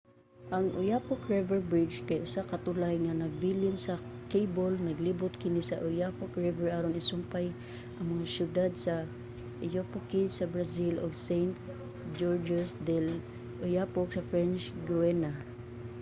ang oyapock river bridge kay usa ka tulay nga nagpabilin sa kable. naglibot kini sa oyapock river aron isumpay ang mga siyudad sa oiapoque sa brazil ug saint-georges de i'oyapock sa french guiana